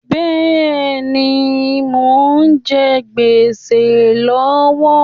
Bẹ́ẹ̀ni, mo ń jẹ géṣà lọ́wọ́